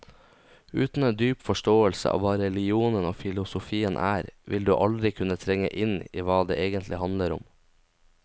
Uten en dyp forståelse av hva religionen og filosofien er, vil du aldri kunne trenge inn i hva det egentlig handler om.